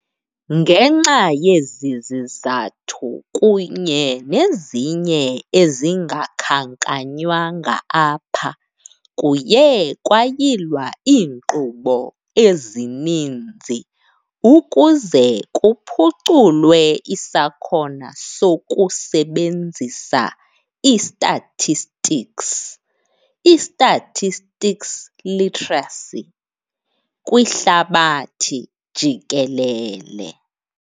Ngenxa yezi zizathu, kunye nezinye ezingakhankanywanga apha, kuye kwayilwa iinkqubo ezininzi ukuze kuphuculwe isakhona sokusebenzisa i-statistics, i-statistics literacy, kwihlabathi jikelele.